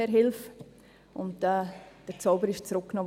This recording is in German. «Herr, hilf!» – und den Zauber zurücknahm.